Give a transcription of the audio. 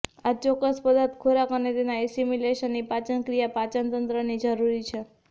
આ ચોક્કસ પદાર્થ ખોરાક અને તેના એસિમિલેશનનો પાચનક્રિયા પાચનતંત્રની જરૂરી છે